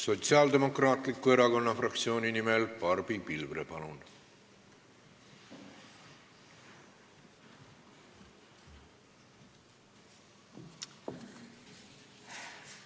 Sotsiaaldemokraatliku Erakonna fraktsiooni nimel Barbi Pilvre, palun!